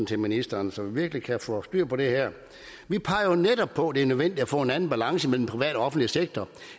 til ministeren så vi virkelig kan få styr på det her vi peger jo netop på at det er nødvendigt at få en anden balance mellem den offentlige sektor